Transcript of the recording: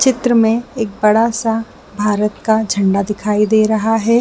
चित्र में बड़ा सा भारत का झंडा दिखाई दे रहा है।